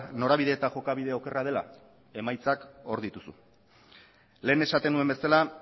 norabide eta jokabide okerra dela emaitzak hor dituzu lehen esaten nuen bezala